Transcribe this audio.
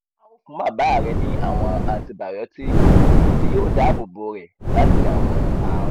a o fun baba rẹ ni awọn antibiyotiki ti yoo daabobo rẹ lati awọn àrùn